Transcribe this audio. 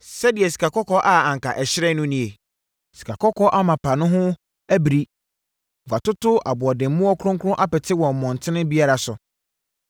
Sɛdeɛ sikakɔkɔɔ a anka ɛhyerɛn no nie? Sikakɔkɔɔ amapa no ho abiri! Wɔatoto aboɔdemmoɔ kronkron apete wɔ mmɔntene biara so.